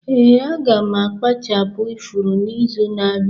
Ee, aga m akpachapu ifuru n'izu na-abịa.